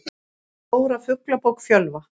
Stóra Fuglabók Fjölva.